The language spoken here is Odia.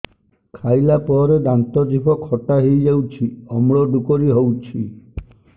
ଖାଇଲା ପରେ ଦାନ୍ତ ଜିଭ ଖଟା ହେଇଯାଉଛି ଅମ୍ଳ ଡ଼ୁକରି ହଉଛି